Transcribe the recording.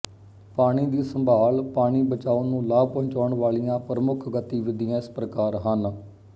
ਪਾਣੀ ਦੀ ਸੰਭਾਲ ਪਾਣੀ ਬਚਾਓ ਨੂੰ ਲਾਭ ਪਹੁੰਚਾਉਣ ਵਾਲੀਆਂ ਪ੍ਰਮੁੱਖ ਗਤੀਵਿਧੀਆਂ ਇਸ ਪ੍ਰਕਾਰ ਹਨ